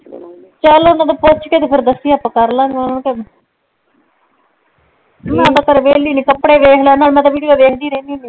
ਚੱਲ ਓਨਾ ਨੂ ਪੁੱਛ ਕੇ ਤੇ ਫੇਰ ਦੱਸੀ ਆਪਾਂ ਕਰ ਲਵਾਂਗੇ ਮੈਂ ਤੇ ਘਰੇ ਵੇਲੀ ਨੇ ਕੱਪੜੇ ਵੇਖ ਲੈਣੇ ਮੈਂ ਤੇ ਵਿਡੀਉ ਵੇਖਦੀ ਰਹਿੰਦੀ ਹੁੰਦੀ